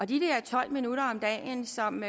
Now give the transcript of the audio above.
de der tolv minutter om dagen som